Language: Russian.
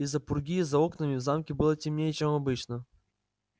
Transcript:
из-за пурги за окнами в замке было темнее чем обычно